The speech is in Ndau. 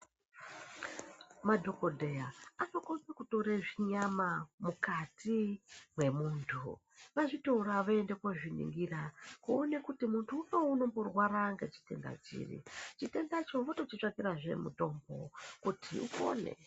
Madhokodheya anokone kutore zvinyama mukati mwemuntu azvitora voende kozviningira kuone kuti muntu unowu unomborwara ngechitenda chiri. Chitendacho votochitsvakirazve mutombo kuti upone.